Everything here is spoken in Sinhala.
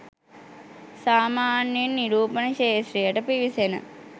සාමාන්‍යයෙන් නිරූපණ ක්‍ෂේත්‍රයට පිවිසෙන